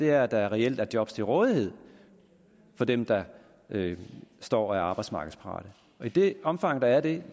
er at der reelt er job til rådighed for dem der står og er arbejdsmarkedsparate i det omfang der er det